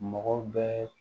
Mɔgɔ bɛɛ